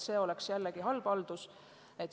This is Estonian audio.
See oleks halb haldus.